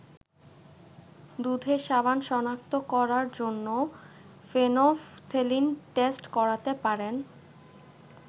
দুধের সাবান শনাক্ত করার জন্য ফেনফথেলিন টেস্ট করতে পারেন।